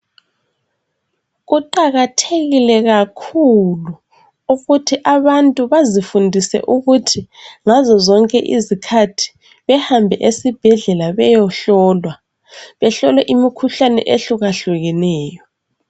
Kuqakathekile kakhulu ukuthi abantu bazifundise ukuthi ngazo zonke izikhathi behambe esibhedlela bayehlolwa. Behlolwe imikhuhlane eyehlukehlukeneyo.